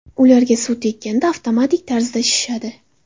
Ular suvga tekkanda avtomatik tarzda shishadi.